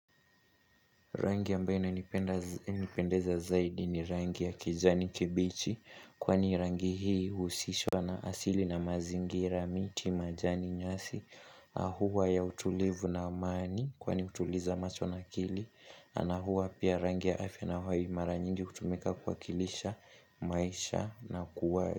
Rangi ambaye inanipendeza zaidi ni rangi ya kijani kibichi Kwani rangi hii uhusishwa na asili na mazingira miti majani nyasi Ahuwa ya utulivu na amani kwani utuliza macho na akili ana huwa pia rangi ya afya na huwa hii mara nyingi hutumika kwa kilisha maisha na kuwa.